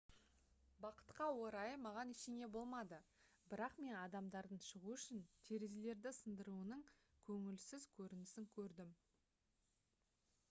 бақытқа орай маған ештеңе болмады бірақ мен адамдардың шығу үшін терезелерді сындыруының көңілсіз көрінісін көрдім